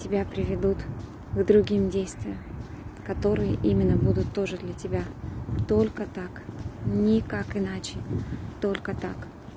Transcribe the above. тебя приведут к другим действиям которые именно будут тоже для тебя только так никак иначе только так